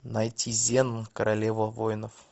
найти зена королева воинов